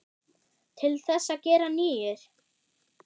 Til þess að gera nýir.